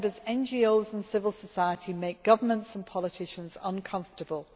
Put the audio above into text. NGOs and civil society make governments and politicians uncomfortable.